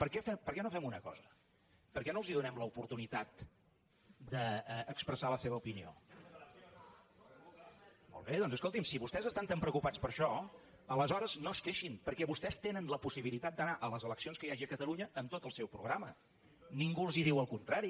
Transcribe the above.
per què no fem una cosa per què no els donem l’oportunitat d’expressar la seva opinió si vostès estan tan preocupats per això aleshores no es queixin perquè vostès tenen la possibilitat d’anar a les eleccions que hi hagi a catalunya amb tot el seu programa ningú els diu el contrari